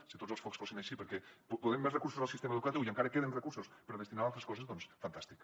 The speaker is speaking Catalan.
si tots els focs fossin així perquè posem més recursos al sistema educatiu i encara queden recursos per destinar a altres coses doncs fantàstic